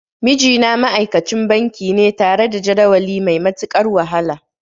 Mijina ma'aikacin banki ne tare da jadawali mai matuƙar wahala.